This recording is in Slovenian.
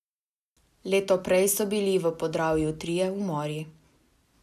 Leto prej so bili v Podravju trije umori.